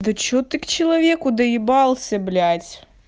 да что ты к человеку доебался блять